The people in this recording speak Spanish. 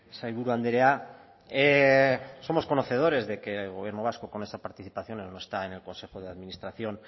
sailburu andrea somos conocedores de que el gobierno vasco con esa participación no está en el consejo de administración